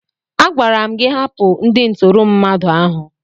Agwara m gị hapụ ndị ntụrụ mmadụ ahụ!